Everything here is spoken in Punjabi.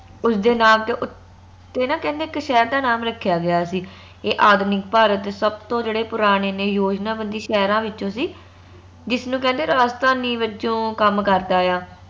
ਉਸ ਦੇ ਨਾਂ ਤੇ ਨਾ ਦੇ ਉੱਤੇ ਨਾ ਕਹਿੰਦੇ ਇਕ ਸ਼ਹਿਰ ਦਾ ਨਾਮ ਰੱਖਿਆ ਗਿਆ ਸੀ ਇਹ ਆਧੁਨਿਕ ਭਾਰਤ ਦੇ ਸਬਤੋ ਜੇਹੜੇ ਪੁਰਾਣੇ ਨੇ ਯੋਜਨਾਬੰਦੀ ਸ਼ਹਿਰਾਂ ਵਿੱਚੋ ਸੀ ਜਿਸ ਨੂੰ ਕਹਿੰਦੇ ਰਾਜਧਾਨੀ ਵੱਜੋਂ ਕੰਮ ਕਰਦਾ ਆ